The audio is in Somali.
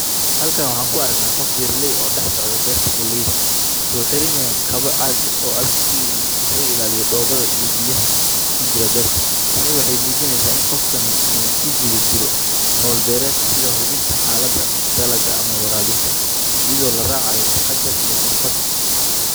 Halkan waxaan ku aragnaa qof beeraley ah oo dhex socda beerta galleyda. Waxaa uu xiran yahay kabo caag ah oo adag si uu isaga ilaaliyo dhoobada iyo biyaha ku jira beerta. Tani waxay muujinaysaa in qofkani uu ku guda jiro hawl beereed sida hubinta xaaladda dalagga ama waraabinta, iyadoo la raacayo taxaddar iyo xirfad.